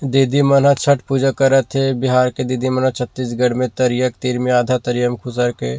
दीदी मन ह छठ पूजा करत हे बिहार के दीदी मन ह छत्तीसगढ़ में तरिया के तीर में आधा तरिया में खुसर के--